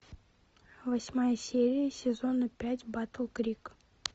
восьмая серия сезона пять батл крик